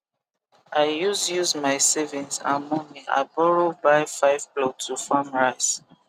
i use use my savings and momey i borrow buy 5 plot to farm rice